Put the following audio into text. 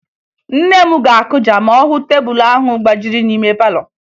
Nne m ga-akụja ma ọ hụ tebulu ahụ gbajiri n'ime palọ